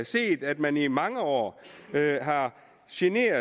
set at man i mange år har generet